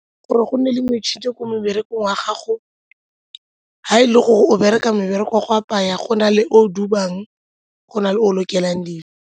Gore go nne le metšhini ko meberekong wa gago, ga e le gore o bereka mebereko wa go apaya go na le o o dubang, go na le o o lokelang dingwe.